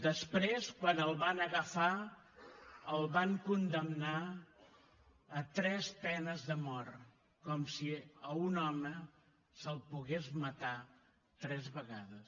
després quan el van agafar el van condemnar a tres penes de mort com si a un home se’l pogués matar tres vegades